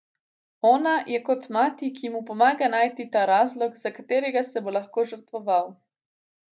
Ona je kot mati, ki mu pomaga najti ta razlog, za katerega se bo lahko žrtvoval.